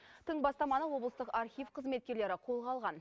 тың бастаманы облыстық архив қызметкерлері қолға алған